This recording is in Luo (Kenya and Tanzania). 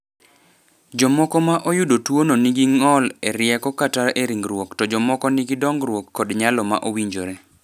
"Jomoko ma oyudo tuwono nigi ng’ol e rieko kata e ringruok to jomoko nigi dongruok kod nyalo ma owinjore."